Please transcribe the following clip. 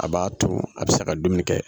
A b'a to a bɛ se ka dumuni kɛ.